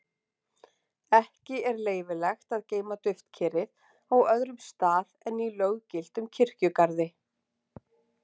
Ekki er leyfilegt að geyma duftkerið á öðrum stað en í löggiltum kirkjugarði.